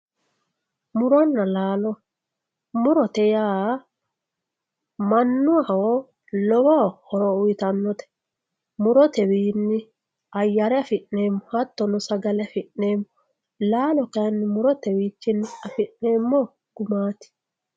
Muronna laallo, murote yaa manaho lowo horo uuyitanote, murotewinni ayere afi'neemo hatono sagale afi'neemo, laallo kayinni murotewiinni afi'neemo gumati